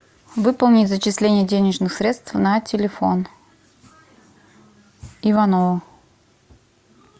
выполнить зачисление денежных средств на телефон иванову